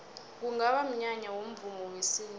kungaba mnyanya womvumo wesintu